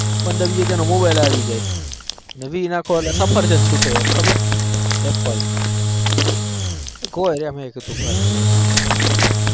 પાંદર વીસ હજાર નો મોબાઇલ આવી જાય વીસ નાખો એટલે સફરજન છુ ટે ખબર apple